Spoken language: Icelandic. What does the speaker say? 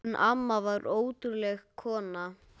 Hún amma var ótrúleg kona.